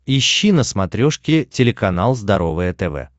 ищи на смотрешке телеканал здоровое тв